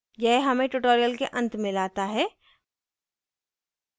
यह हमें tutorial के अंत में लाता है